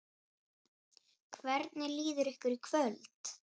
Hvernig líður ykkur í kvöld?